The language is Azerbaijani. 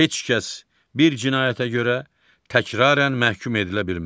Heç kəs bir cinayətə görə təkrarən məhkum edilə bilməz.